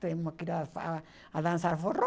Temos que ir a dançar forró.